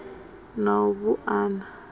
na u bu a na